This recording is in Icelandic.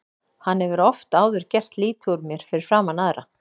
Hann hefur oft áður gert lítið úr mér fyrir framan aðra.